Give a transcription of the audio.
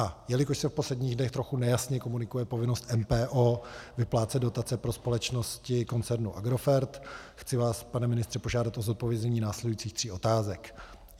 A jelikož se v posledních dnech trochu nejasně komunikuje povinnost MPO vyplácet dotace pro společnosti koncernu Agrofert, chci vás, pane ministře, požádat o zodpovězení následujících tří otázek: